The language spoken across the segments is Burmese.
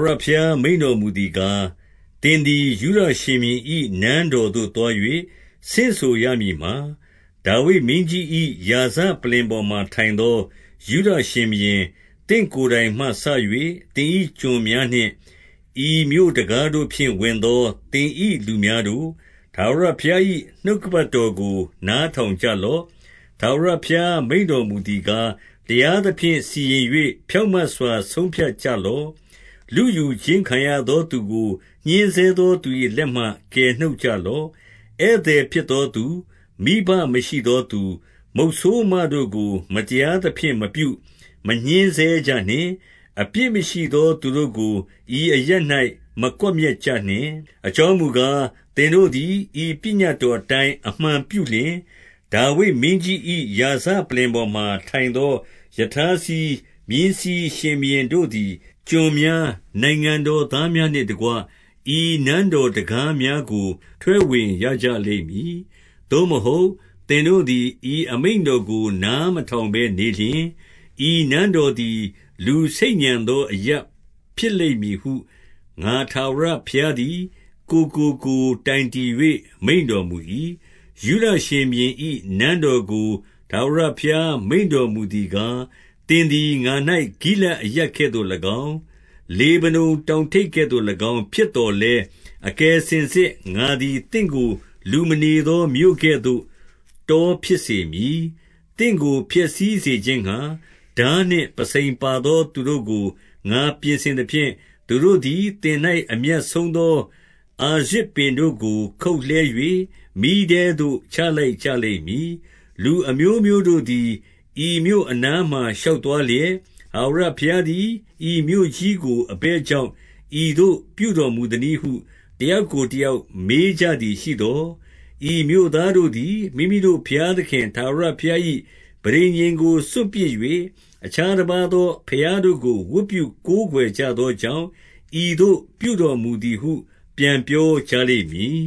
ဝရဘုရား မိန့်တော်မူသည်ကား၊ သင်သည် ယုဒရှင်ဘုရင်၏ နန်းတော်သို့သွား၍ ဆင့်ဆိုရမည်မှာ၊ 2 ဒါဝိဒ်မင်းကြီး၏ ရာဇပလ္လင်ပေါ်မှာ ထိုင်သော ယုဒရှင်ဘုရင်၊ သင့်ကိုယ်တိုင်မှစ၍ သင်၏ကျွန်များနှင့်၊ ဤမြို့တံခါးတို့ဖြင့် ဝင်သော သင်၏လူများတို့၊ ထာဝရ ဘုရား၏ နှုတ်ကပတ်တော်ကို နားထောင်ကြလော့။ 3 ထာဝရဘုရားမိန့်တော်မူသည်ကား၊ တရား သဖြင့် စီရင်၍ ဖြောင့်မတ်စွာ ဆုံးဖြတ်ကြလော့။ လုယူ ခြင်းခံရသောသူကို ညှဉ်းဆဲသော သူ၏လက်မှကယ်နှုတ် ကြလော့။ ဧည့်သည်ဖြစ်သောသူ၊ မိဘမရှိသောသူ၊ မုတ်ဆိုးမတို့ကို မတရားသဖြင့်မပြု၊ မညှဉ်းဆဲကြနှင့်။ အပြစ်မရှိသော သူတို့ကို ဤအရပ်၌မကွပ်မျက်ကြနှင့်။ 4 အကြောင်းမူကား၊ သင်တို့သည် ဤပညတ်တော် အတိုင်း အမှန်ပြုလျှင်၊ ဒါဝိဒ်မင်းကြီး၏ ရာဇပလ္လင်ပေါ် မှာ ထိုင်သော ရထားစီး၊ မြင်းစီးရှင်ဘုရင်တို့သည် ကျွန် များ၊ နိုင်ငံတော်သားများနှင့်တကွ၊ ဤနန်းတော်တံခါးများ ကို ထွက်ဝင်ရကြလိမ့်မည်။ 5 သို့မဟုတ်၊ သင်တို့သည် ဤအမိန့်တော်ကို နားမထောင်ဘဲနေလျှင်၊ ဤနန်းတော်သည် လူဆိတ်ညံ သော အရပ်ဖြစ်လိမ့်မည်ဟု ငါထာဝရဘုရားသည် ကိုယ်ကို ကိုယ်တိုင်တည်၍ မိန့်တော်မူ၏။ 6 ယုဒရှင်ဘုရင်၏ နန်းတော်ကို ထာဝရဘုရား မိန့်တော်မူသည်ကား၊ သင်သည်ငါ၌ ဂိလဒ်အရပ်ကဲ့သို့ ၎င်း၊ လေဗနုန်တောင်ထိပ်ကဲ့သို့၎င်း ဖြစ်သော်လည်း၊ အကယ်စင်စစ် ငါသည်သင့်ကို လူမနေသော မြို့ကဲ့သို့ တောဖြစ်စေမည်။ 7 သင့်ကို ဖျက်ဆီးစေခြင်းငှါ၊ ထားနှင့်ပုဆိန်ပါ သော သူတို့ကို ငါပြင်ဆင်သဖြင့်၊ သူတို့သည် သင်၌ အမြတ်ဆုံးသော အာရဇပင်တို့ကို ခုတ်လှဲ၍ မီးထဲသို့ ချလိုက် ကြလိမ့်မည်။ 8 လူအမျိုးမျိုးတို့သည် ဤမြို့အနားမှာ ရှောက် သွားလျက်၊ ထာဝရဘုရားသည် ဤမြို့ကြီးကို အဘယ် ကြောင့် ဤသို့ပြုတော်မူသနည်းဟု၊ တယောက်ကို တယောက် မေးကြသည်ရှိသော်၊ 9 ဤ မြို့သားတို့သည် မိမိတို့ဘုရားသခင် ထာဝရ ဘုရား၏ ပဋိညာဉ်ကို စွန့်ပစ်၍၊ အခြားတပါးသော ဘုရားတို့ကို ဝတ်ပြုကိုးကွယ်ကြသောကြောင့်၊ ဤသို့ ပြုတော်မူသည်ဟု ပြန်ပြောကြလိမ့်မည်။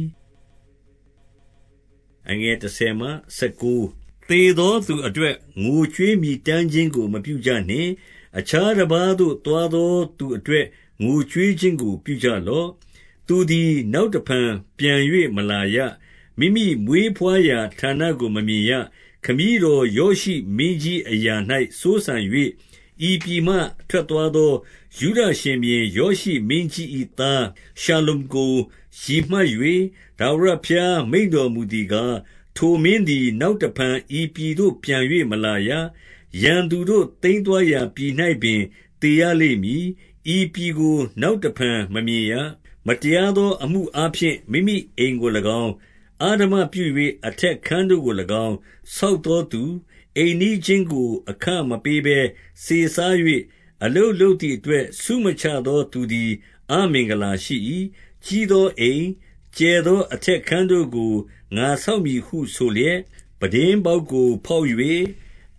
10 သေသောသူအတွက် ငိုကြွေးမြည်တမ်းခြင်းကို မပြုကြနှင့်။ အခြားတပါးသို့ သွားသောသူအတွက် ငိုကြွေး ခြင်းကို ပြုကြလော့။ သူသည် နောက်တဖန်ပြန်၍မလာရ။ မိမိမွေးဘွားရာဌာနကို မမြင်ရ။ 11 ခမည်းတော်ယောရှိမင်းကြီး အရာ၌စိုးစံ၍ ဤပြည်မှ ထွက်သွားသော ယုဒရှင်ဘုရင် ယောရှိမင်းကြီး ၏ သားရှလ္လုံကို ရည်မှတ်၍ ထာဝရဘုရား မိန့်တော်မူ သည်ကား၊ ထိုမင်းသည် နောက်တဖန်ဤပြည်သို့ ပြန်၍မလာရ။ 12 ရန်သူတို့ သိမ်းသွားရာပြည်၌ပင် သေရလိမ့် မည်။ ဤပြည်ကို နောက်တဖန်မမြင်ရ။ 13 မတရားသော အမှုအားဖြင့် မိမိအိမ်ကို၎င်း၊ အဓမ္မပြု၍ အထက်ခန်းတို့ကို၎င်း ဆောက်သောသူ၊ အိမ်နီးချင်းကိုအခမပေးဘဲ စေစား၍၊ အလုပ်လုပ်သည် အတွက် ဆုမချသောသူသည် အမင်္ဂလာရှိ၏။ 14 ကြီးသောအိမ်၊ ကျယ်သောအထက်ခန်းတို့ကို ငါဆောက်မည်ဟု ဆိုလျက်၊ ပြတင်းပေါက်ကို ဖေါက်၍၊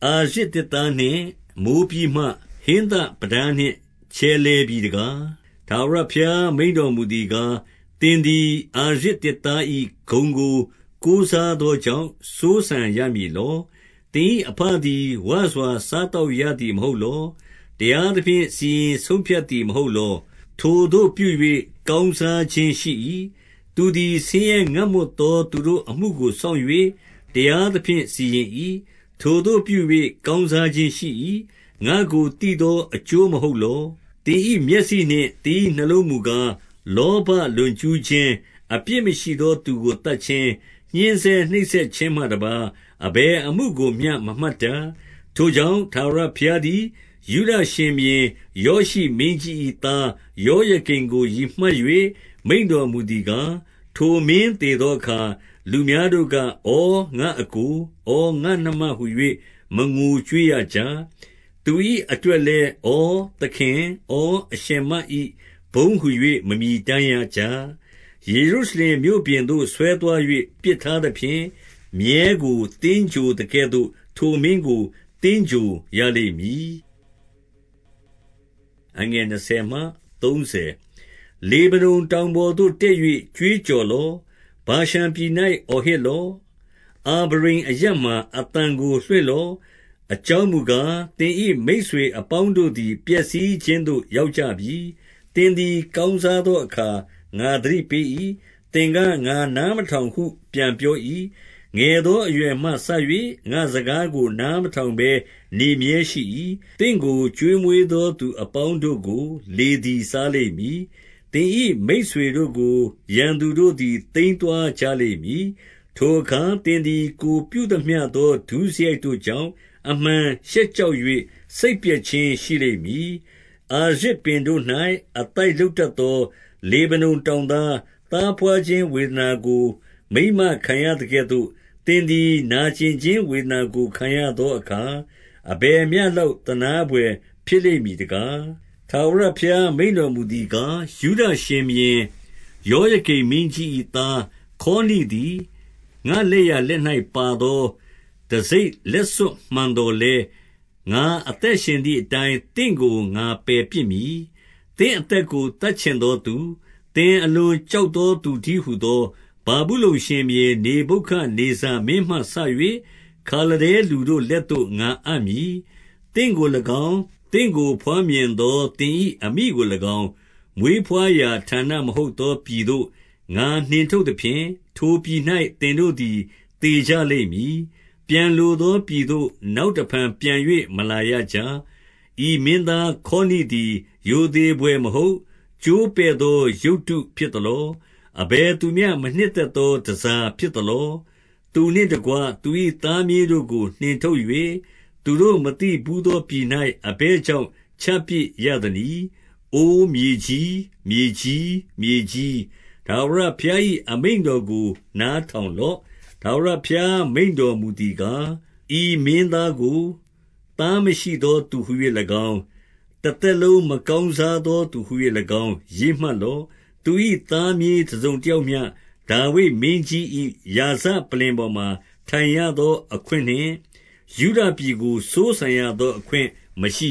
အာရဇ်သစ်သားနှင့် မိုးပြီးမှ၊ ဟင်းသပြတားနှင့် ချယ်လှယ်ပြီတကား။ 15 ထာဝရဘုရား မိန့်တော်မူသည်ကား၊ သင်သည် အာရဇ်သစ်သား၏ ဂုဏ်ကိုကိုးစားသောကြောင့် စိုးစံ ရမည်လော။ သင်၏ အဘသည်ဝစွာ စားသောက်ရသည် မဟုတ်လော။ တရားသဖြင့် စီရင်ဆုံးဖြတ်သည်မ ဟုတ်လော။ ထိုသို့ပြု၍ ကောင်းစားခြင်းရှိ၏။ 16 သူသည် ဆင်းရဲငတ်မွတ်သော သူတို့အမှုကို စောင့်၍ တရားသဖြင့် စီရင်၏။ ထိုသို့ပြု၍ ကောင်းစား ခြင်းရှိ၏။ ငါ့ကိုသိသော အကျိုးမဟုတ်လော။ 17 သင်၏ မျက်စိနှင့် သင်၏နှလုံးမူကား၊ လောဘ လွန်ကျူးခြင်း၊ အပြစ်မရှိသောသူကို သတ်ခြင်း၊ ညှဉ်းဆဲ နှိပ်စက်ခြင်းမှတပါး၊ အဘယ်အမှုကိုမျှ မမှတ်တတ်။ 18 ထိုကြောင့်၊ ထာဝရဘုရားသည် ယုဒရှင်ဘုရင် ယောရှိမင်းကြီး၏သား ယောယကိမ်ကို ရည်မှတ်၍ မိန့်တော်မူသည်ကား၊ ထိုမင်းသေသောအခါ လူများတို့က၊ ဩငါ့အစ်ကို၊ ဩ ငါ့နှမ ဟူ၍ မငိုကြွေးရကြ။ သူ၏ အတွက်လည်း၊ ဩ သခင်၊ ဩ အရှင်မ၏ ဘုန်းဟူ၍ မမြည်တမ်းရကြ။ 19 ယေရုရှလင်မြို့ပြင်သို့ ဆွဲသွား၍ ပစ်ထားသဖြင့်၊ မြည်းကို သင်္ဂြိုဟ်သကဲ့သို့ ထိုမင်းကို သင်္ဂြိုဟ်ရလိမ့်မည်။ 20 လေဗနုန်တောင်ပေါ်သို့ တက်၍ ကြွေးကြော် လော့။ ဗာရှန်ပြည်၌ အော်ဟစ်လော့။ အာဗရိမ်အရပ်မှာ အသံကိုလွှင့်လော့။ အကြောင်းမူကား၊ သင်၏မိတ်ဆွေ အပေါင်းတို့သည် ပျက်စီးခြင်းသို့ ရောက်ကြပြီ။ 21 သင်သည် ကောင်းစားသောအခါ ငါသတိ ပေး၏။ သင်က၊ ငါနားမထောင်ဟု ပြန်ပြော၏။ ငယ်သောအရွယ်မှစ၍ ငါ့စကားကို နားမထောင်ဘဲ နေမြဲရှိ၏။ 22 သင့်ကို ကျွေးမွေးသော သူအပေါင်းတို့ကို လေသည် စားလိမ့်မည်။ သင်၏မိတ်ဆွေတို့ကို ရန်သူတို့ သည် သိမ်းသွားကြလိမ့်မည်။ ထိုအခါ သင်သည် ကိုယ်ပြု သမျှသော ဒုစရိုက်တို့ကြောင့် အမှန်ရှက်ကြောက်၍ စိတ်ပျက်ခြင်း ရှိလိမ့်မည်။ 23 အာရဇ်ပင်တို့၌ အသိုက်လုပ်တတ်သော လေဗနုန်တောင်သား၊ သားဘွားခြင်းဝေဒနာကို မိန်းမ ခံရသကဲ့သို့၊ သင်သည်နာကျင်ခြင်းဝေဒနာ ကိုခံရသော အခါ၊ အဘယ်မျှလောက် သနားဘွယ်ဖြစ်လိမ့်မည် တကား။ 24 ထာဝရဘုရားမိန့်တော်မူသည်ကား၊ ယုဒ ရှင်ဘုရင် ယောယကိမ်မင်းကြီး၏သား ခေါနိသည်၊ ငါ့လက်ျာ လက်၌ပါသော တံဆိပ်လက်စွပ် မှန်သော်လည်း၊ ငါအသက်ရှင်သည်အတိုင်း သင့်ကို ငါပယ်ပစ်မည်။ 25 သင့်အသက်ကို သတ်ချင်သောသူ၊ သင်အလွန် ကြောက်သော သူတည်းဟူသော ဗာဗုလုန်ရှင်ဘုရင် နေဗုခဒ်နေဇာမင်းမှစ၍ ခါလဒဲလူတို့ လက်သို့ ငါအပ် မည်။ 26 သင့်ကို၎င်း၊ သင့်ကိုဘွားမြင်သော သင်၏အမိကို၎င်း၊ မွေးဘွားရာ ဌာနမဟုတ်သော ပြည်သို့ ငါနှင်ထုတ်သဖြင့်၊ ထိုပြည်၌ သင်တို့သည် သေကြ လိမ့်မည်။ 27 ပြန်လိုသောပြည်သို့ နောက်တဖန်ပြန်၍ မလာရကြ။ 28 ဤမင်းသားခေါနိသည် ရိုသေဘွယ်မဟုတ်၊ ကျိုးပဲ့သောရုပ်တုဖြစ်သလော။ အဘယ်သူမျှ မနှစ်သက် သောတန်ဆာဖြစ်သလော။ သူနှင့်တကွ သူ၏သားမြေး တို့ကို နှင်ထုတ်၍၊ သူတို့မသိဘူးသောပြည်၌ အဘယ် ကြောင့် ချပစ်ရသနည်း။ 29 အိုမြေကြီး၊ မြေကြီး၊ မြေကြီး၊ ထာဝရဘုရား၏ အမိန့်တော်ကို နားထောင်လော့။ 30 ထာဝရဘုရားမိန့်တော်မူသည်ကား၊ ဤမင်းကို သားမရှိသောသူဟူ၍၎င်း၊ တသက်လုံး မကောင်းစား သောသူဟူ၍၎င်း ရေးမှတ်လော့။ သူ၏သားမြေးတစုံ တယောက်မျှ ဒါဝိဒ်မင်းကြီး၏ ရာဇပလ္လင်ပေါ်မှာ ထိုင်ရ သောအခွင့်နှင့်၊ ယုဒပြည်ကို စိုးစံရသောအခွင့်မရှိ